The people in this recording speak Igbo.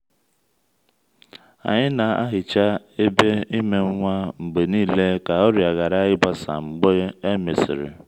anyị na-ahicha ebe ime nwa mgbe niile ka ọrịa ghara ịgbasa mgbe e mesịrị.